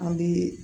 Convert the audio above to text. An bɛ